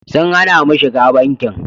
Sun hana mu shiga bankin.